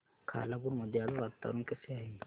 खालापूर मध्ये आज वातावरण कसे आहे